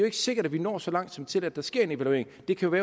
ikke sikkert at vi når så langt som til at der sker en evaluering det kan